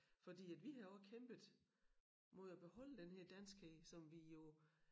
Fordi at vi har også kæmpet mod at beholde den her danskhed som vi jo